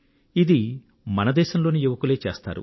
ఇది మన దేశంలోని యువకులే చేస్తారు